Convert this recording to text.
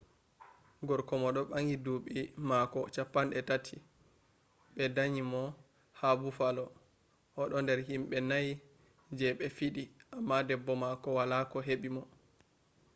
gorko mo do bangi duubi mako 30 be danyi mo ha buffalo o do der himbe nai je be fidi amma debbo mako wala ko hebi mo